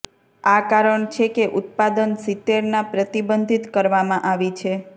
આ કારણ છે કે ઉત્પાદન સિત્તેરના પ્રતિબંધિત કરવામાં આવી છે